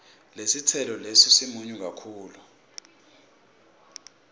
lesitselo lesi simunyu kakhulu